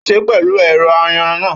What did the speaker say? Ó sè é pẹ̀lú ẹ̀rọ ayanran náà